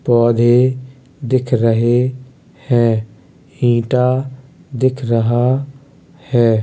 पौधे दिख रहे है। ईटा दिख रहा है।